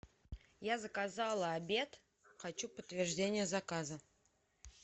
я заказала обед хочу подтверждение заказа